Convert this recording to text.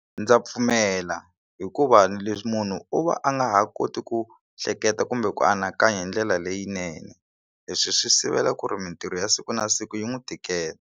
Ndza pfumela hikuva leswi munhu u va a nga ha koti ku hleketa kumbe ku anakanya hi ndlela leyinene leswi swi sivela ku ri mitirho ya siku na siku yi n'wi tikela.